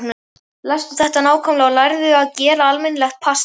Lestu þetta nákvæmlega og lærðu að gera almennilegt pasta.